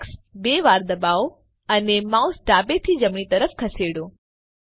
x બે વાર ડબાઓ અને માઉસ ડાબેથી જમણી તરફ ખસેડો